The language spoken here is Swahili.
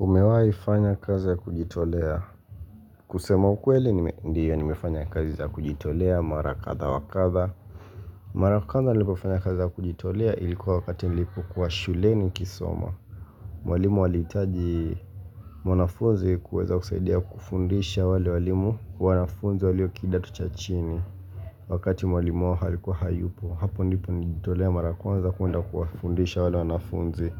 Umewai fanya kazi ya kujitolea kusema ukweli ndiyo yaa nimefanya kazi ya kujitolea marakadha wakadha Marakadhaa nilipofanya kazi ya kujitolea ilikuwa wakati nilipo kuwa shule nikisoma Mwalimu waliitaji mwanafuzi kuweza kusaidia kufundisha wale walimu wanafunzi waloo kidato cha chini Wakati mwalimu wao alikuwa hayupo hapo ndipo nilipo nilijitolea marakuanza kuunda kuwa fundisha wale wanafunzi